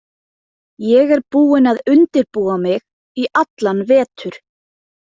Ég er búin að undirbúa mig í allan vetur.